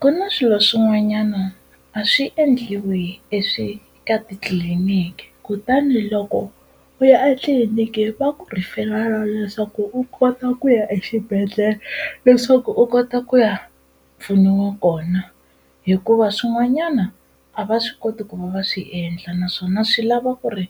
Ku na swilo swin'wanyana a swi endliwi ka titliliniki kutani loko u ya a tliliniki va ku refer-a leswaku u kota ku ya exibedhlele leswaku u kota ku ya pfuniwa kona hikuva swin'wanyana a va swi koti ku va va swi endla naswona swi lava ku ri